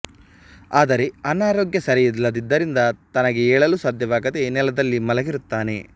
ಆದರೆ ಆರೋಗ್ಯ ಸರಿಯಿಲ್ಲದ್ದರಿಂದ ತನಗೆ ಏಳಲು ಸಾಧ್ಯವಾಗದೆ ನೆಲದಲ್ಲಿ ಮಲಗಿರುತ್ತಾನೆ